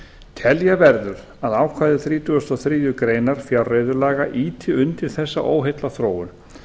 telja verður að ákvæði þrítugustu og þriðju grein fjárreiðulaga ýti undir þessa óheillaþróun